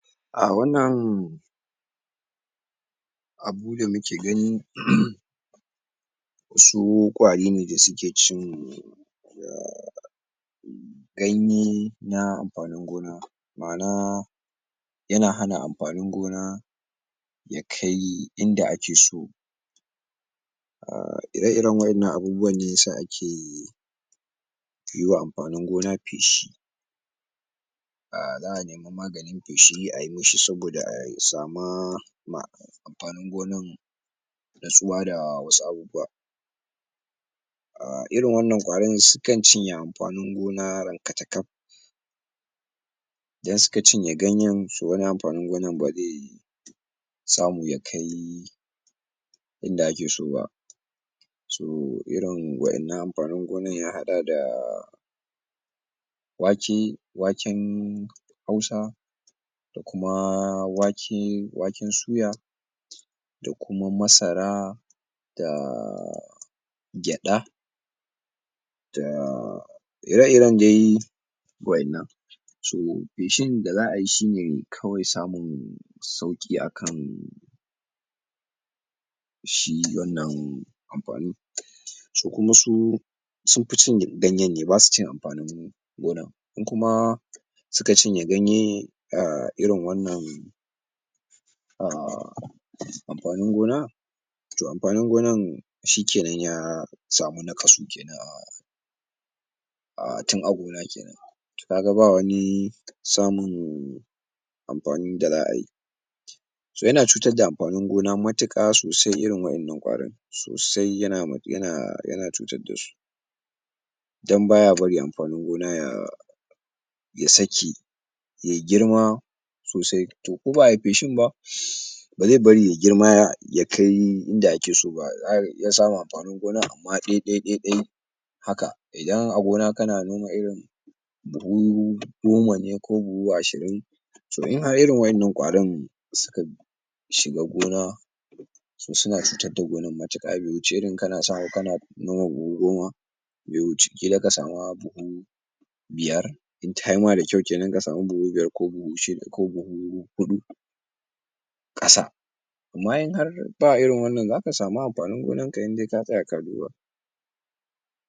A wannan abu da muke gani wasu ƙwari ne da suke cin um ganye na amfanin gona ma'ana yana hana amfanin gona ya kai inda ake so,[um] ire iren waƴannan abubuwa ne yasa ake yiwa amfanin gona feshi, za'a sama maganin feshi ayi mishi saboda a sama amfanin gonan natsuwa da wasu abubuwa, um irin wannan ƙwarin sukan ciye amfanin gona rankatakaf, idan suka cinye ganyan to wani amfanin gonan baze samu ya kai inda ake so ba. So irin waƴannan amfanin gonan ya haɗa da wake, waken hausa da kuma wake waken suya da kuma masara da gyaɗa da ire iren dai waƴannan, so feshin da za'ai shine kawai samun sauƙi akan shi wannan amfanin to kuma su sunfi cin ganyen ne, basu cin amfanin gonan in kuma suka cinye ganye irin wannan um amfanin gona, toh amfanin gonan shike nan ya samu naƙasu kenan um tin a gona kenan to kaga ba wani samun amfanin da za'ai so yana cutar da amfanin gona matuƙa sosai irin waƴannan ƙwarin sosai yana yana cutar dasu dan baya bari amfanin gona ta ya sake yay girma sosai to ko ba'ai feshin ba um baze bari ya girma yakai inda ake so ba zaka iya samun amfanin gona amma ɗai ɗai ɗai ɗai haka idan a gona kana noma irin buhu goma ne ko buhu ashirin to in a irin waƴannan ƙwarin suka shiga gona to suna cuta da gonan matuƙa be wuce irin kana samu kana noma buhu goma, be wuci ƙila ka sama buhu biyar in tayi ma dakyau kenan ka sama buhu biyar ko buhu shida ko buhu huɗu ƙasa amma in an ba irin wannan zaka samu amfanin gonan ka indai ka tsaya ka duba.